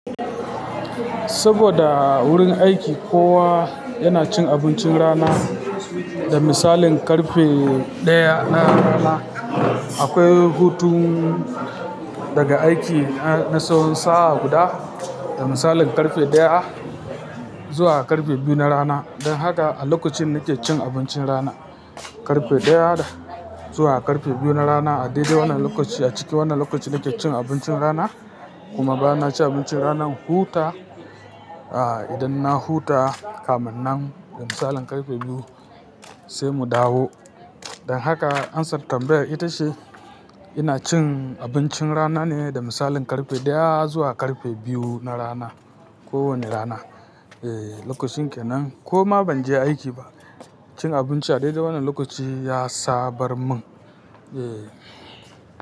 Saboda a wurin aiki kowa yana cin abincin rana da misalin karfe daya na rana. Akwai hutun daga aiki na tsawon sa'a guda, da misalin karfe daya zuwa karfe biyu na rana. Don haka a lokacin nakicin abincin rana, karfe daya zuwa karfe biyu na rana a daidai wannan lokaci, a cikin wannan lokaci nakijin abincin rana, kuma ba na cin abincin ranan huta, ah idan na huta kaminnan da misalin karfe biyu sai mu dawo. Don haka answer tambayar ita ce ina cin abincin rana ne da misalin karfe daya zuwa karfe biyu na rana, kowane rana. Eh lokacin kenan kuma ban je aiki ba. Cin abinci a daidai wannan lokaci ya sabar mun. Eh.